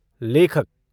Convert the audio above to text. लेखक